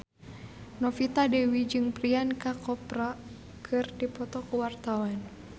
Novita Dewi jeung Priyanka Chopra keur dipoto ku wartawan